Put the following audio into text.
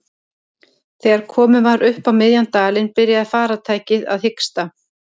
Þegar komið var upp á miðjan dalinn byrjaði farartækið að hiksta.